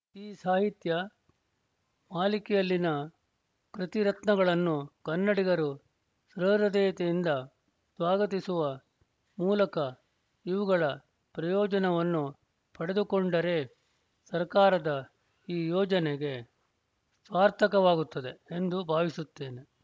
ಈ ಸಾಹಿತ್ಯ ಮಾಲಿಕೆಯಲ್ಲಿನ ಕೃತಿರತ್ನಗಳನ್ನು ಕನ್ನಡಿಗರು ಸಹೃದಯತೆಯಿಂದ ಸ್ವಾಗತಿಸುವ ಮೂಲಕ ಇವುಗಳ ಪ್ರಯೋಜನವನ್ನು ಪಡೆದುಕೊಂಡರೆ ಸರ್ಕಾರದ ಈ ಯೋಜನೆಗೆ ಸಾರ್ಥಕವಾಗುತ್ತದೆ ಎಂದು ಭಾವಿಸುತ್ತೇನೆ